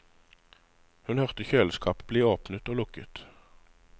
Hun hørte kjøleskapet bli åpnet og lukket.